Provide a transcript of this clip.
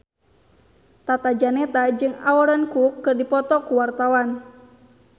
Tata Janeta jeung Aaron Kwok keur dipoto ku wartawan